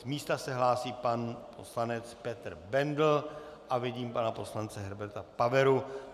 Z místa se hlásí pan poslanec Petr Bendl a vidím pana poslance Herberta Paveru.